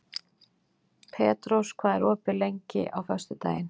Petrós, hvað er opið lengi á föstudaginn?